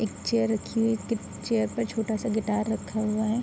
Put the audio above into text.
एक चेयर रखी हुई है चेयर पर एक छोटा-सा गिटार रखा हुआ है।